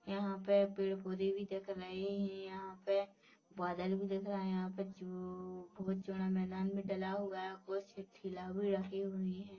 यहाँ पे पेड़ - पौधे भी दिख रहे है यहाँ पे बादल भी दिख रहा है यहाँ पे चू बोहोत चौड़ा मैदान भी डला हुआ है कुछ ठीला भी रखी हुई हैं।